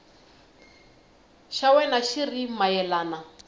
xa wena xi ri mayelana